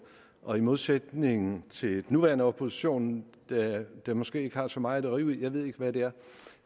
og i modsætning til den nuværende opposition der måske ikke har så meget at rive i jeg ved ikke hvad det er